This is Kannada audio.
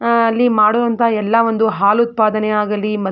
ಆ ಅಲ್ಲಿ ಮಾಡೋ ಅಂತ ಎಲ್ಲಾ ಒಂದು ಹಾಲು ಉತ್ಪಾದನೆಯಾಗಲೀ --